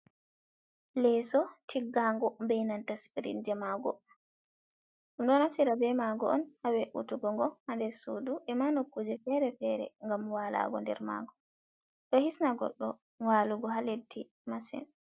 Leso tiggango be nanta sprit je mago, ɗum ɗo naftira be mago on ha we’’utugogo ha nder sudu, e ma nokkuje fere-fere ngam walago nder mago, ɗo hisna goɗɗo walugo ha leddi masin.